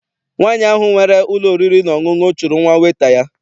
Nwaanyi ahụ nwere ụlọ oriri na ọṅụṅụ chụrụ nwa weta ya.